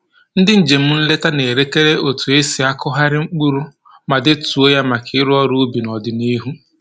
Ndị njem nleta na-elekere otu e si akụgharị mkpụrụ ma detuo ya maka ịrụ ubi n'ọdịnihu